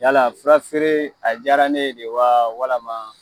Yala fura feere a diyara ne ye de wa walima?